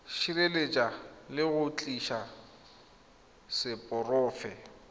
sireletsa le go tiisa seporofe